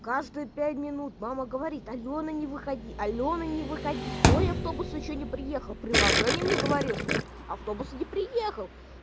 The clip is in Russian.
каждые пять минут мама говорит алёна не выходи алёна не выходи твой автобус ещё не приехал приложение мне говорит что автобус не приехал